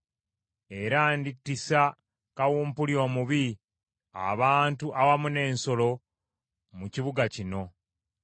Era ndittisa kawumpuli omubi, abantu awamu n’ensolo enkambwe, mu kibuga kino.